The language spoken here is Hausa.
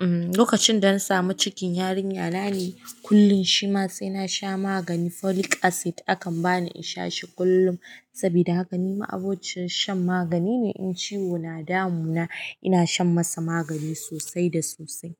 Lokacin da na sami cikin yarinya nane kullum shi ma sai na sha magani. Folic acid akan ba ni in sha shi kullum saboda haka ni ma abociyar shan magani ne. In ciwo na damu na ina shan masa magani sosai da sosai.